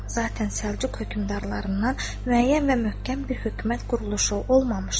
Zatən Səlcuq hökmdarlarından müəyyən və möhkəm bir hökumət quruluşu olmamışdı.